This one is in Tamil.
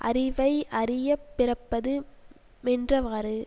அறிவை அறிய பிறப்பது மென்றவாறு